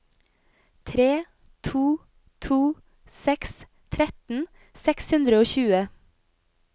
tre to to seks tretten seks hundre og tjue